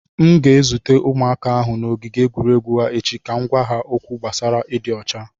M ga-ezute ụmụaka ahụ n’ogige egwuregwu ha echi ka m gwa ha okwu gbasara ịdị ọcha.